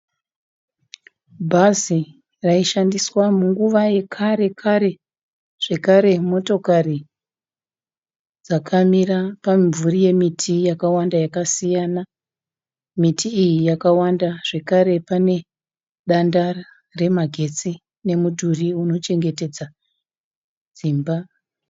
Bhazi raishandiswa munguva yekare kare, zvekare motokari dzakamira pamumvuri yemiti yakawanda yakasiyana. Miti iyi yakawanda zvekare pane danda remagetsi nemudhuri unochengetedza dzimba.